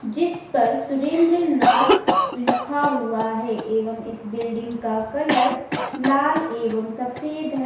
जिस पर सुरेंद्रनाथ लिखा हुआ है एवं इस बिल्डिंग का कलर लाल एवं सफेद है।